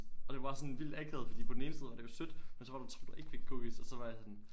Og det var bare sådan vildt akavet fordi på den ene side var det jo sødt men så var der to der ikke fik cookies og så var jeg sådan